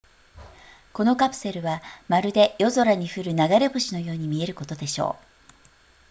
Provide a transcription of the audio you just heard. このカプセルはまるで夜空に降る流れ星のように見えることでしょう